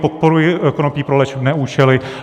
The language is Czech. Podporuji konopí pro léčebné účely.